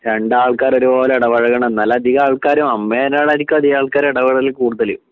രണ്ടാൾക്കാരും ഒരുപോലെ ഇടപഴകണം എന്നാലധികം ആൾക്കാരും അമ്മേനോടായിരിക്കും അധികം ആൾക്കാരും ഇടപെടല് കൂടുതല്